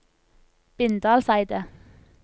Bindalseidet